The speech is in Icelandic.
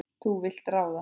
Þú vilt ráða.